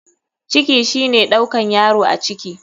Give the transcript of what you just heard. Ciki shine ɗaukan yaro a ciki.